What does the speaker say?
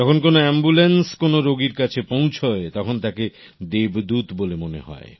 যখন কোনো আম্বুল্যান্স কোনো রোগীর কাছে পৌঁছয় তখন তাকে দেবদূত বলে মনে হয়